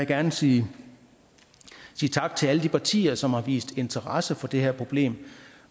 gerne sige tak til alle de partier som har vist interesse for det her problem